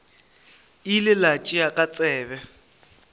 ile a tšea ka tsebe